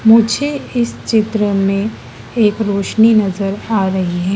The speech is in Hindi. मुझे इस चित्र में एक रोशनी नजर आ रही है।